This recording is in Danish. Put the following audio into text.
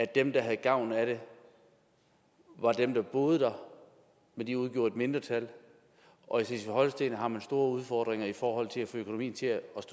dem der havde gavn af det var dem der boede der og de udgjorde et mindretal og i slesvig holsten har man store udfordringer i forhold til at få økonomien til at